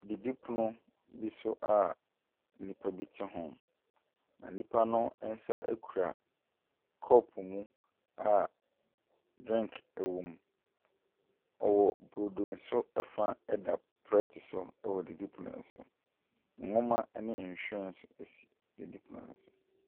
Didipono bi so a nnipa bi te ho, na nipa no nsa kura kɔpo a drink wɔ mu. Ɔwɔ brodo nso fa da plɛte so wɔ didipono no so. Nnwoma ne nhwinen nso si didipono no so.